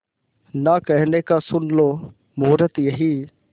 ना कहने का सुन लो मुहूर्त यही